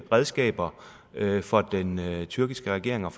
redskaber for den tyrkiske regering og